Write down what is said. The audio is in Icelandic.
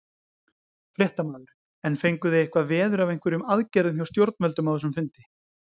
Fréttamaður: En fenguð þið eitthvað veður af einhverjum aðgerðum hjá stjórnvöldum á þessum fundi?